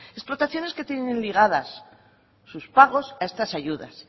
explotaciones que tienen ligadas sus pagos a estas ayudas